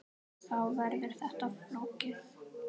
Þá verður þetta flókið.